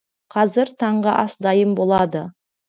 қазір таңғы ас дайын болады